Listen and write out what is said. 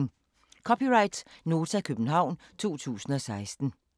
(c) Nota, København 2016